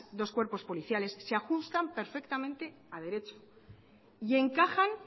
dos cuerpos policiales se ajustan perfectamente a derecho y encajan